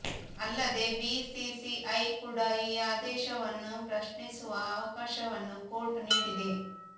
ಅಲ್ಲದೆ ಬಿಸಿಸಿಐ ಕೂಡ ಈ ಆದೇಶವನ್ನು ಪ್ರಶ್ನಿಸುವ ಅವಕಾಶವನ್ನು ಕೋರ್ಟ್ ನೀಡಿದೆ